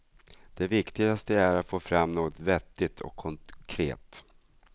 Det viktigaste är att få fram något vettigt och konkret.